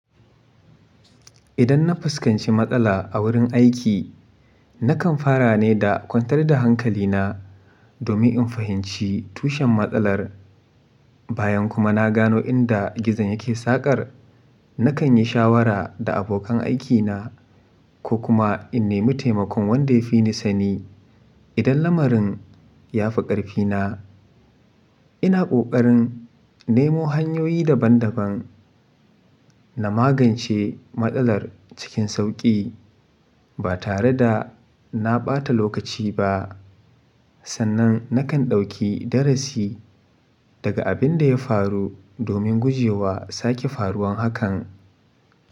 Idan na fuskanci matsala a wurin aiki, nakan fara ne da kwantar da hankali na domin in fahimci tushen matsalar. Bayan kuma na gano inda gizon yake saƙar, nakan yi shawara da abokan aikina ko kuma in nemi taimakon wanda ya fi ni sani. Idan lamarin ya fi ƙarfina, ina ƙoƙarin nemo hanyoyi daban-daban na magance matsalar cikin sauƙi ba tare da na ɓata lokaci ba. Sannan nakan ɗauki darasi daga abin da ya faru domin guje wa sake faruwan hakan.